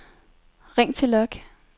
ring til log